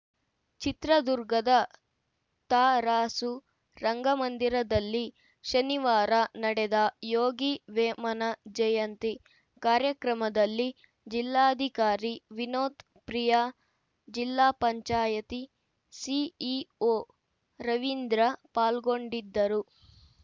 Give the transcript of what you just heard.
ಚಿತ್ರದುರ್ಗದ ತರಾಸು ರಂಗಮಂದಿರದಲ್ಲಿ ಶನಿವಾರ ನಡೆದ ಯೋಗಿ ವೇಮನ ಜಯಂತಿ ಕಾರ್ಯಕ್ರಮದಲ್ಲಿ ಜಿಲ್ಲಾಧಿಕಾರಿ ವಿನೋತ್‌ ಪ್ರಿಯಾಜಿಲ್ಲಾ ಪಂಚಾಯಿತಿ ಸಿಇಒ ರವೀಂದ್ರ ಪಾಲ್ಗೊಂಡಿದ್ದರು